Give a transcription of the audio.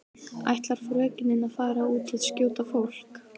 Ætlar frökenin að fara út og skjóta fólk?